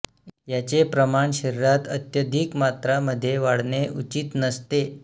याचे प्रमाण शरीरात अत्यधिक मात्रा मध्ये वाढणे उचित नसते